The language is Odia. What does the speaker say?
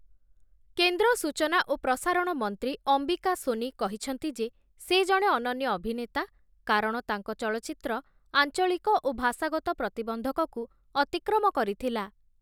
କେନ୍ଦ୍ର ସୂଚନା ଓ ପ୍ରସାରଣ ମନ୍ତ୍ରୀ ଅମ୍ବିକା ସୋନି କହିଛନ୍ତି ଯେ, ସେ ଜଣେ ଅନନ୍ୟ ଅଭିନେତା, କାରଣ ତାଙ୍କ ଚଳଚ୍ଚିତ୍ର ଆଞ୍ଚଳିକ ଓ ଭାଷାଗତ ପ୍ରତିବନ୍ଧକକୁ ଅତିକ୍ରମ କରିଥିଲା ।